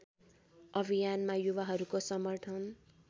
अभियानमा युवाहरूको समर्थन